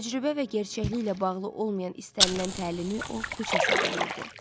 Təcrübə və gerçəkliklə bağlı olmayan istənilən təlimi o puç hesab eləyirdi.